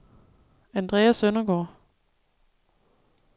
Andrea Søndergaard